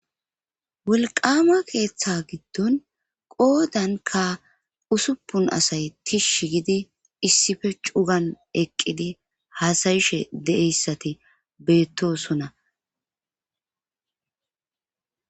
Wolqama keeththa giddon qoodanka usupun asay tishsh gidi issife cugan eqqidi haasayishe deeyssati beettosona.